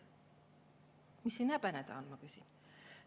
Mis siin häbeneda on, ma küsin.